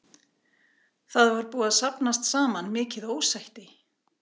Það var búið að safnast saman mikil ósætti.